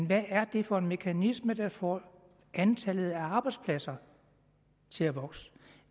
hvad er det for en mekanisme der får antallet af arbejdspladser til at vokse